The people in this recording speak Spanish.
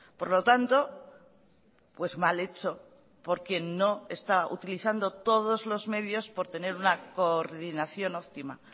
por lo tanto pues mal hecho porque no está utilizando todos los medios por tener una coordinación optima